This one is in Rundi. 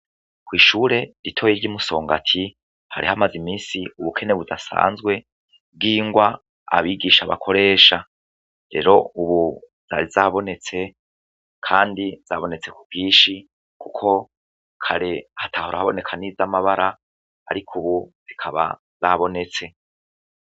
Kw'ishure ritoyi ry'i Musongati hari hamaze iminsi ubukene budasanzwe bw'ingwa abigisha bakoresha, rero ubu zari zabonetse kandi zabonetse ku bwinshi kuko kare hatahora haboneka niz'amabara ariko ubu zikaba zabonetse.